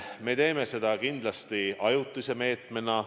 Me teeme seda kindlasti ajutise meetmena.